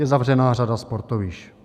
Je zavřená řada sportovišť.